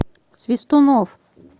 свистунов